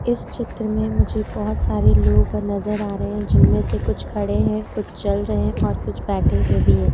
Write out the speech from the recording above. इस चित्र में मुझे बहोत सारे लोग नजर आ रहे हैं जिनमें से कुछ खड़े हैं कुछ चल रहे हैं और कुछ बैठे हुए भी हैं